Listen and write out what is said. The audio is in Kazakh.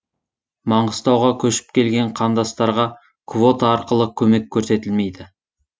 маңғыстауға көшіп келген қандастарға квота арқылы көмек көрсетілмейді